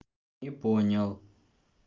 не понял